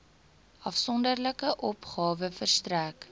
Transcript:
afsonderlike opgawe verstrek